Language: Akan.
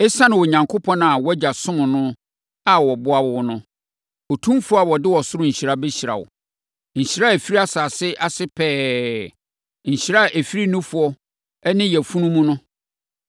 esiane Onyankopɔn a wʼagya somm no a ɔboa wo no; Otumfoɔ a ɔde ɔsoro nhyira bɛhyira wo; nhyira a ɛfiri asase ase pɛɛ; nhyira a ɛfiri nufoɔ ne yafunu mu no.